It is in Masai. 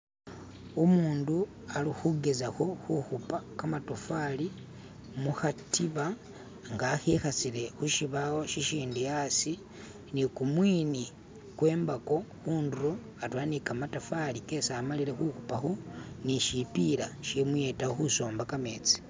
umundu alikhugezakho khukhupa kamatafali mukhatiba nga akhekhasile khushibawo shishindi aasi nikumwini kwembako khundulo atwela ni kamatafali kesi amalile khukhupakho nishipila shimuyetakho khusomba kametsi.